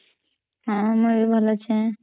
ହଁ ମୂଇ ବି ଭଲ ଅଚେ